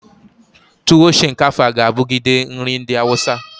Tuwo shinkafa ga abugide nri ndi awusa.